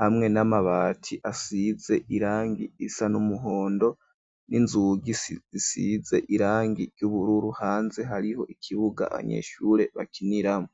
hamwe n'amabati asize irangi risa n' umuhondo, n'inzugi zisize irangi ry'ubururu, hanze hariho ikibuga abanyeshure bakiniramwo.